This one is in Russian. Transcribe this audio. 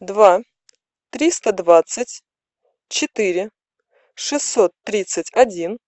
два триста двадцать четыре шестьсот тридцать один